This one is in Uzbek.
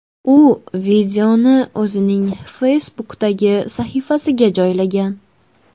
U videoni o‘zining Facebook’dagi sahifasiga joylagan.